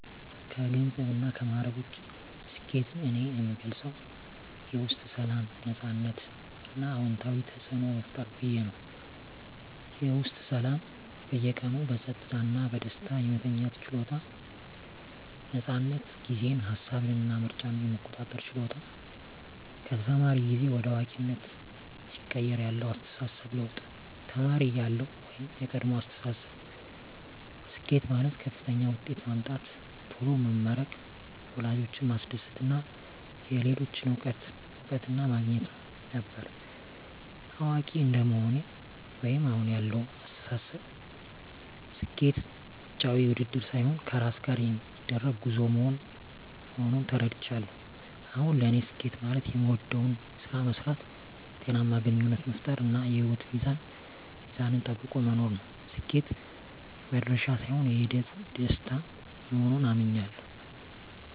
ከገንዘብና ከማዕረግ ውጭ፣ ስኬትን እኔ የምገልጸው የውስጥ ሰላም፣ ነፃነት እና አዎንታዊ ተፅዕኖ መፍጠር ብዬ ነው። -የውስጥ ሰላም በየቀኑ በጸጥታ እና በደስታ የመተኛት ችሎታ። ነፃነት ጊዜን፣ ሃሳብን እና ምርጫን የመቆጣጠር ችሎታ -ከተማሪ ጊዜ ወደ አዋቂነት ሲቀየር ያለው አስተሳሰብ ለውጥ -ተማሪ እያለሁ (የቀድሞ አስተሳሰብ)፦ ስኬት ማለት ከፍተኛ ውጤት ማምጣት፣ ቶሎ መመረቅ፣ ወላጆችን ማስደሰት እና የሌሎችን እውቅና ማግኘት ነበር። አዋቂ እንደመሆኔ (አሁን ያለው አስተሳሰብ)፦ ስኬት ውጫዊ ውድድር ሳይሆን ከራስ ጋር የሚደረግ ጉዞ መሆኑን ተረድቻለሁ። አሁን ለኔ ስኬት ማለት የምወደውን ስራ መስራት፣ ጤናማ ግንኙነት መፍጠር፣ እና የህይወት ሚዛንን ጠብቆ መኖር ነው። ስኬት "መድረሻ" ሳይሆን የሂደቱ ደስታ መሆኑን አምኛለሁ። -